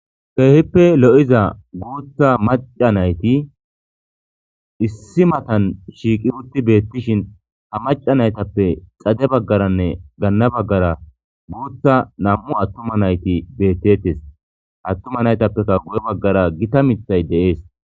Kehippe lo'iza guththa maca nayti issi matani shiqi utti betishshn ha maca nayitappe xade bagaranne gana bagara guththa nam'u atuma nati betetes atuma natapekka guye baggara gitta miththay de'es